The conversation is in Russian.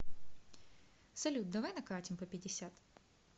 салют давай накатим по пятьдесят